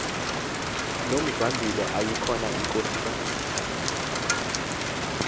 nomzwandile yayikhona inkosikazi